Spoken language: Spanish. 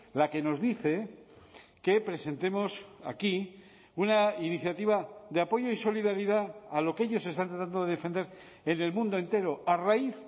la que nos dice que presentemos aquí una iniciativa de apoyo y solidaridad a lo que ellos están tratando de defender en el mundo entero a raíz